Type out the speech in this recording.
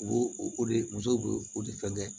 U b'o o de musow bo o de fɛn kɛ